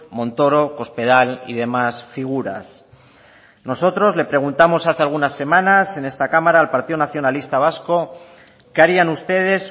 montoro cospedal y demás figuras nosotros le preguntamos hace algunas semanas en esta cámara al partido nacionalista vasco qué harían ustedes